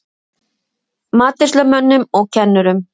Matreiðslumönnum og kennurum